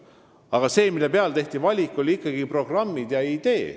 Aga see, mille põhjal tehti valik, oli ikkagi programm ja idee.